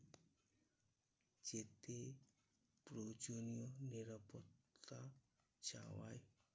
যেতে প্রয়োজনীয় নিরাপত্তা চাওয়া